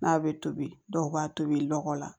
N'a bɛ tobi dɔw b'a tobi lɔgɔ la